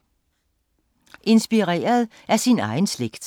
Inspireret af sin egen slægt